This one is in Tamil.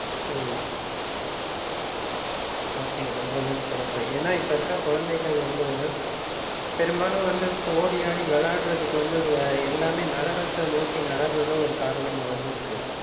உம் okay ரொம்பவும் சிறப்பு. ஏன்னா, இப்ப இருக்கிற குழந்தைகள் வந்து, பெரும்பாலும் வந்து இப்ப ஓடி, ஆடி விளையாடுறதுக்கு வந்து, அஹ் எல்லாமே நகரத்தை நோக்கி நகர்றதும் ஒரு காரணமா வந்து இருக்கு